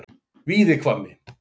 Víðihvammi